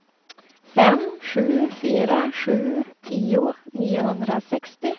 fem sju fyra sju tio niohundrasextio